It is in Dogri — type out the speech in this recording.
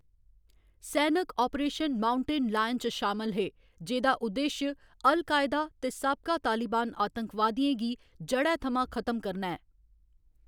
सैनक अपरेशन माउंटेन लायन च शामल हे, जेह्‌दा उद्देश अल कायदा ते साबका तालिबान आतंकवादियें गी जढ़ै थमां खत्म करना ऐ।